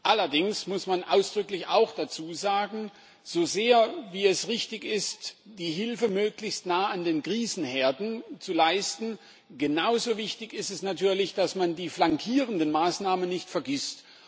Allerdings muss man dazu auch ausdrücklich sagen, so sehr es richtig ist, die Hilfe möglichst nahe an den Krisenherden zu leisten, genauso wichtig ist es natürlich, dass man die flankierenden Maßnahmen nicht vergisst.